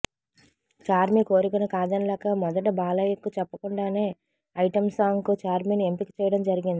చార్మి కోరికను కాదనలేక మొదట బాలయ్యకు చెప్పకుండానే ఐటెం సాంగ్కు ఛార్మిని ఎంపిక చేయడం జరిగింది